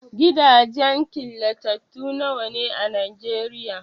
Gidajen killatattu nawa ne a Nigeria?